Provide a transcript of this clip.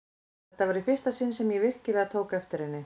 Þetta var í fyrsta sinn sem ég virkilega tók eftir henni.